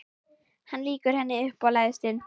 Hann lýkur henni upp og læðist inn.